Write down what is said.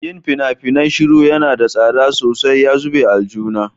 Yin fina-finai shiru yana da tsada sosai ya zube aljihuna.